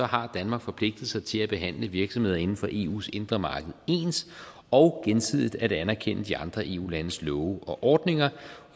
har danmark forpligtet sig til at behandle virksomheder inden for eus indre marked ens og gensidigt at anerkende de andre eu landes love og ordninger